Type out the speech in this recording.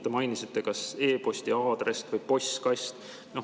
Te mainisite, et kas e-posti aadress või postkast.